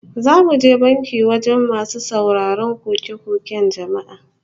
Za mu je banki wajen masu sauraron koke-koken jama'a